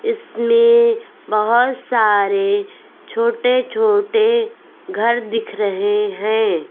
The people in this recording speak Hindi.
इसमें बहोत सारे छोटे छोटे घर दिख रहे हैं।